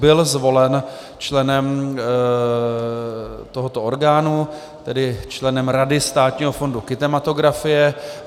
Byl zvolen členem tohoto orgánu, tedy členem Rady Státního fondu kinematografie.